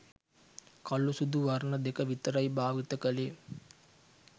කළු සුදු වර්ණ දෙක විතරයි භාවිත කළේ